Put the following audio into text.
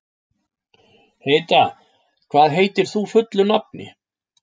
Heida, hvað heitir þú fullu nafni?